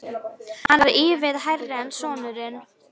Hann var ívið hærri en sonurinn.